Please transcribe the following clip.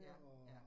Ja, ja